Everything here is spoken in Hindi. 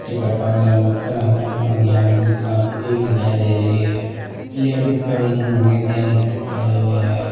टिकट वगैरह बुक कराते हैं और यहाँ भी काफी भीड़ दिखाई दे रही है लेडीज खड़ी हुई हैं जेंस भी खड़े हुए हैं।